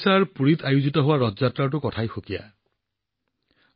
ওড়িশাৰ পুৰী ভাষাৰ ৰথ যাত্ৰা সঁচাকৈয়ে অদ্ভুত